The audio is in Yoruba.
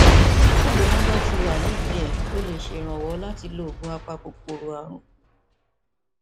bí ìgbóná bá ti wà nídìí rẹ ó lè ṣèrànwọ láti lo oògùn apakòkòrò ààrùn